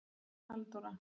Halldóra